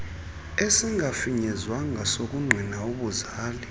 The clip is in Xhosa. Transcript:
esingafinyezwanga sokungqina ubuzali